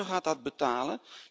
De burger gaat dat betalen.